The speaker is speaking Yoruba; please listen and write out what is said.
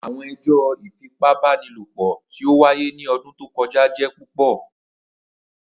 Awọn ẹjọ ifipabanilopo ti o waye ni ọdun to kọja jẹ pupọ.